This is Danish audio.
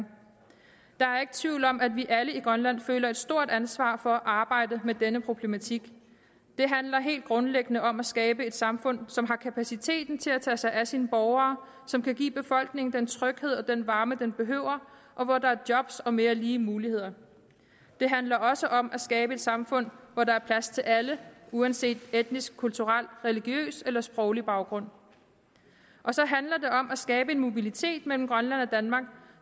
der er ikke tvivl om at vi alle i grønland føler et stort ansvar for at arbejde med denne problematik det handler helt grundlæggende om at skabe et samfund som har kapaciteten til at tage sig af sine borgere som kan give befolkningen den tryghed og den varme den behøver og hvor der er job og mere lige muligheder det handler også om at skabe et samfund hvor der er plads til alle uanset etnisk kulturel religiøs eller sproglig baggrund og så handler det om at skabe en mobilitet mellem grønland og danmark